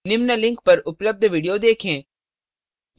निम्न link पर उपलब्ध video देखें